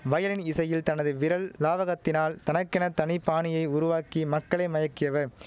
violin இசையில் தனது விரல் லாவகத்தினால் தனக்கென தனி பாணியை உருவாக்கி மக்களை மயக்கியவர்